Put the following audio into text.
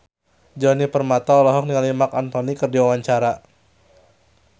Djoni Permato olohok ningali Marc Anthony keur diwawancara